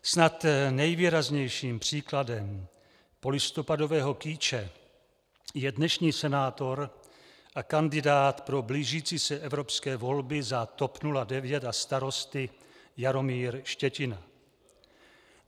Snad nejvýraznějším příkladem polistopadového kýče je dnešní senátor a kandidát pro blížící se evropské volby za TOP 09 a Starosty Jaromír Štětina.